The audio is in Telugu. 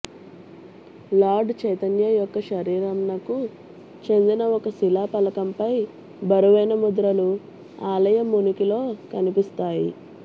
లార్డ్ చైతన్య యొక్క శరీరంనకు చెందిన ఒక శిలా ఫలకంపై బరువైన ముద్రలు ఆలయం ఉనికిలో కనిపిస్తాయి